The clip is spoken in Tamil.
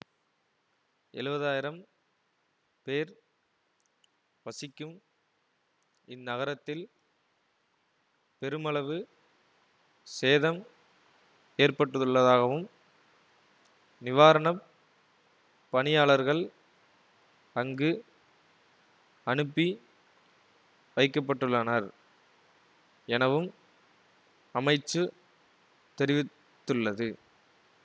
எழுவது ஆயிரம் பேர் வசிக்கும் இந்நகரத்தில் பெருமளவு சேதம் ஏற்பட்டுள்ளதாகவும் நிவாரண பணியாளர்கள் அங்கு அனுப்பி வைக்க பட்டுள்ளனர் எனவும் அமைச்சு தெரிவித்துள்ளது